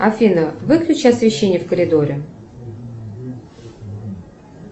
афина выключи освещение в коридоре